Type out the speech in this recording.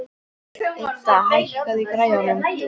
Idda, hækkaðu í græjunum.